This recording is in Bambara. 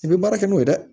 I bɛ baara kɛ n'o ye dɛ